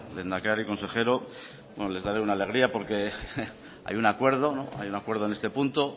lehendakari consejero bueno les daré una alegría porque hay un acuerdo hay un acuerdo en este punto